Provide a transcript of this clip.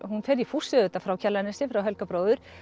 hún fer í fússi auðvitað frá Kjalarnesi frá Helga bróður